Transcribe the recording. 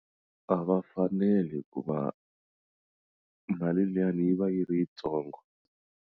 A va faneli hikuva mali liyani yi va yi ri yitsongo.